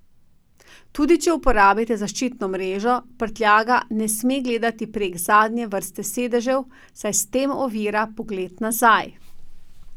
Tudi če uporabite zaščitno mrežo, prtljaga ne sme gledati prek zadnje vrste sedežev, saj s tem ovira pogled nazaj.